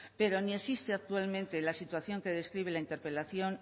pero ni existe actualmente la situación que describe la interpelación